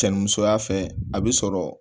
Cɛ ni musoya fɛ a bi sɔrɔ